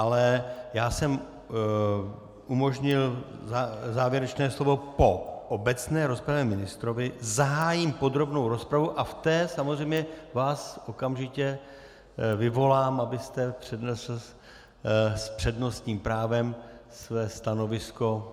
Ale já jsem umožnil závěrečné slovo po obecné rozpravě ministrovi, zahájím podrobnou rozpravu a v té samozřejmě vás okamžitě vyvolám, abyste přednesl s přednostním právem své stanovisko.